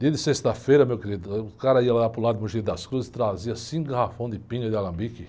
Dia de sexta-feira, meu querido, o cara ia lá para o lado de, trazia cinco garrafões de pinga de alambique.